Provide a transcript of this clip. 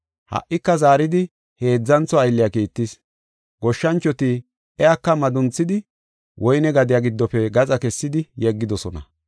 Ha77ika zaaridi heedzantho aylliya kiittis. Goshshanchoti iyaka madunxisidi woyne gadiya giddofe gaxa kessidi yeggidosona.